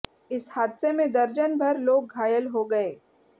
इस हादसे में दर्जन भर लोग घायल हो गए